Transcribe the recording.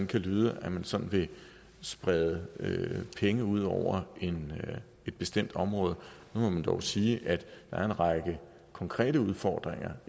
kan lyde at man sådan vil sprede penge ud over et bestemt område må jeg dog sige at der er en række konkrete udfordringer